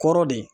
Kɔrɔ de